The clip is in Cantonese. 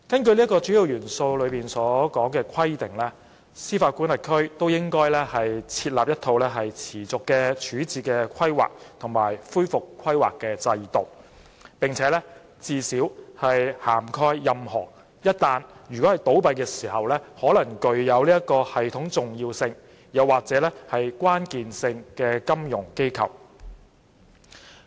《主要元素》規定，各司法管轄區均應設立一套持續的處置規劃及恢復規劃制度，最少涵蓋任何一旦倒閉時可能具有系統重要性或關鍵性的金融機構。